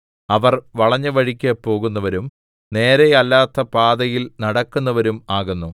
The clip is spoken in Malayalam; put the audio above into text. അവർ വളഞ്ഞവഴിക്ക് പോകുന്നവരും നേരെയല്ലാത്ത പാതയിൽ നടക്കുന്നവരും ആകുന്നു